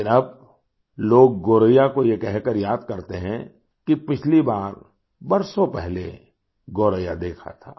लेकिन अब लोग गोरैया को ये कहकर याद करते हैं कि पिछली बार बरसों पहले गोरैया देखा था